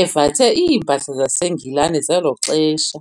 evathe iimpahla zaseNgilane zelo xesha.